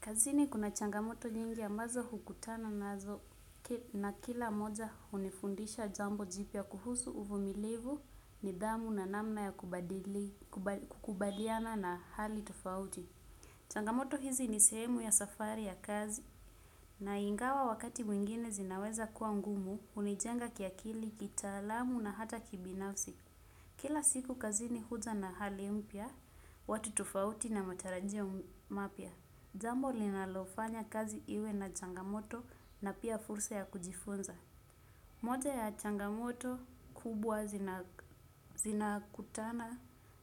Kazini kuna changamoto nyingi ambazo hukutana nazo na kila moja hunifundisha jambo jipia kuhusu uvumilivu, nidhamu na namna ya kubaliana na hali tufauti. Changamoto hizi ni sehemu ya safari ya kazi na ingawa wakati mwingine zinaweza kuwa ngumu hunijenga kiakili, kitaalamu na hata kibinafsi. Kila siku kazini huja na hali mpya, watu tufauti na matarajio mapya. Jambo linalofanya kazi iwe na changamoto na pia fursa ya kujifunza. Moja ya changamoto kubwa zinakutana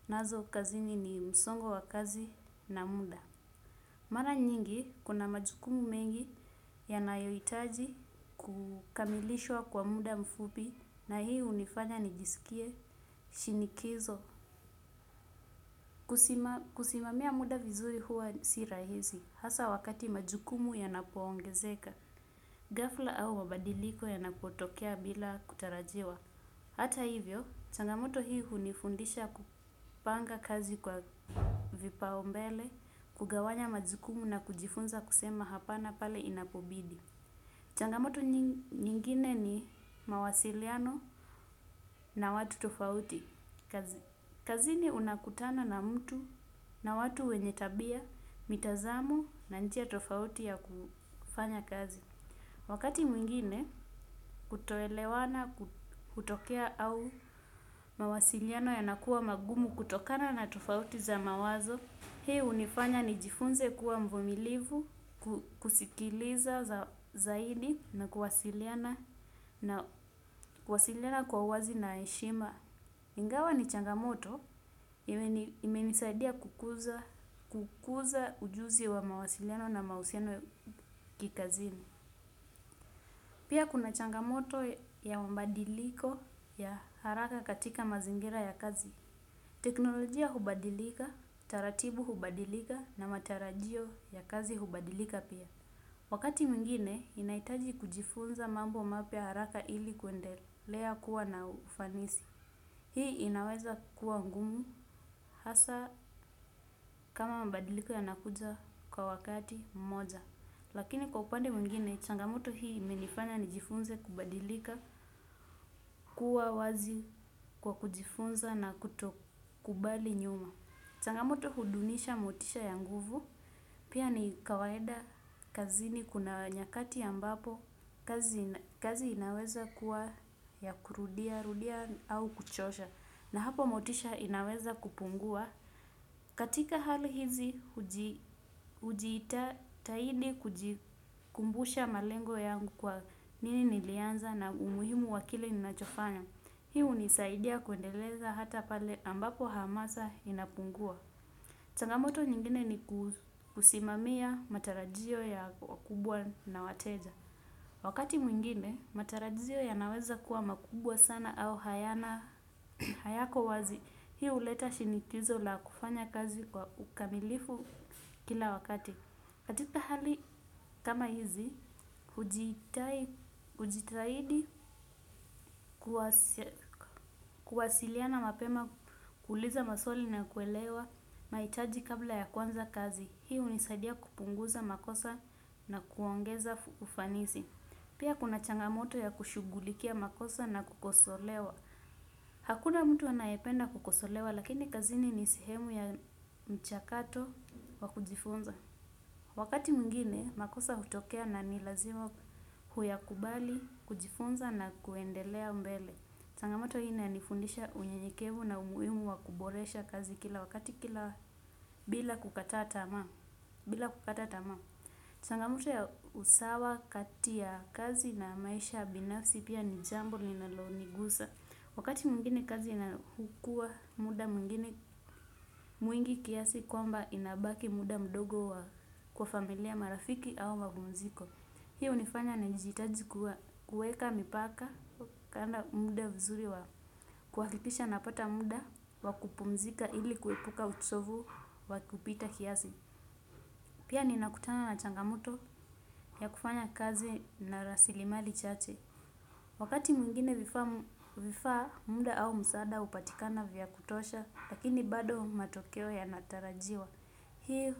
nazo kazini ni msongo wa kazi na muda. Mara nyingi kuna majukumu mengi yanayoitaji kukamilishwa kwa muda mfupi na hii hunifanya nijisikie shinikizo. Kusimamia muda vizuri huwa si rahisi hasa wakati majukumu yanapoongezeka ghafla au mabadiliko yanapotokea bila kutarajiwa. Hata hivyo, changamoto hii hunifundisha kupanga kazi kwa vipaombele, kugawanya majukumu na kujifunza kusema hapana pale inapobidi. Changamoto nyingine ni mawasiliano na watu tofauti kazi. Kazini unakutana na mtu na watu wenye tabia, mitazamo na njia tofauti ya kufanya kazi. Wakati mwingine kutoelewana hutokea au mawasiliano yanakuwa magumu kutokana na tofauti za mawazo, hii hunifanya nijifunze kuwa mvumilivu kusikiliza zaidi na kuwasiliana. Kuwasiliana kwa uwazi na heshima. Ingawa ni changamoto, imenisaidia kukuza ujuzi wa mawasiliano na mahusiano ya kikazini. Pia kuna changamoto ya mabadiliko ya haraka katika mazingira ya kazi. Teknolojia hubadilika, taratiu hubadilika na matarajio yya kazi hubadilika. Wakati mwingine, ninahitaji kujifunza mambo mapya haraka ili kuendelea kuwa na ufanisi. Hii inaweza kuwa ngumu hasa kama mabadiliko ya nakuja kwa wakati mmoja. Lakini kwa upande mwngine, changamoto hii imenifanya nijifunze kubadilika kuwa wazi kwa kujifunza na kutokubali nyuma. Changamoto hudunisha motisha ya nguvu, pia ni kawaida kazini kuna nyakati ya ambapo kazi inaweza kuwa ya kurudia-rudia au kuchosha na hapo motisha inaweza kupungua. Katika hali hizi. Hujiitatahidi kujikumbusha malengo yangu kwa nini nilianza na umuhimu wa kile ninachofanya. Hii hunisaidia kuendeleza hata pale ambapo hamasa inapungua. Changamoto nyingine ni kusimamia matarajio ya wakubwa na wateja. Wakati mwingine, matarajio yanaweza kuwa makubwa sana au hayana hayako wazi. Hii huleta shinikizo la kufanya kazi kwa ukamilifu kila wakati. Katika hali kama hizi, hujitahidi kuwasiliana mapema, kuuliza maswali na kuelewa mahitaji kabla ya kuanza kazi. Hii hunisadia kupunguza makosa na kuongeza ufanisi. Pia kuna changamoto ya kushughulikia makosa na kukosolewa. Hakuna mtu anayependa kukosolewa lakini kazini ni sehemu ya mchakato wa kujifunza. Wakati mwingine makosa hutokea na ni lazima kuyakubali, kujifunza, na kuendelea mbele. Changamoto hii inanifundisha unyenyekevu na umuhimu wa kuboresha kazi kila wakati kila bila kukata tamaa. Bila kukata tama. Changamoto ya usawa kati ya kazi na maisha binafsi pia ni jambo linalonigusa. Wakati mwingine kazi inakuwa muda mwingine mwingi kiasi kwamba inabaki muda mdogo wa kwa familia, marafiki au mapumziko. Hiyo hunifanya nijihitaji kuweka mipaka kupanga muda vizuri wa kuhakiisha napata muda wa kupumzika ili kuepuka uchovu wa kupita kiasi. Pia ninakutana na changamoto ya kufanya kazi na rasilimali chache. Wakati mwingine vifaa, muda au msaada hupatikana vya kutosha, lakini bado matokeo yanatarajiwa. Hii.